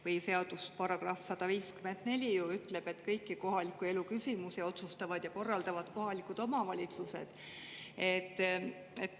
Põhiseaduse § 154 ju ütleb, et kõiki kohaliku elu küsimusi otsustavad ja korraldavad kohalikud omavalitsused.